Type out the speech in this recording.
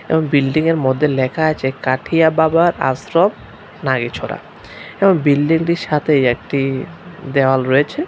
এবং বিল্ডিংয়ের মধ্যে লেখা আছে কাঠিয়া বাবার আশ্রম নারীছড়া এবং বিল্ডিংটির সাথে একটি দেওয়াল রয়েছে।